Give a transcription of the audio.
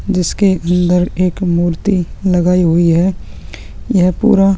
जिसके अंदर एक मूर्ति लगाई हुई है यह पूरा --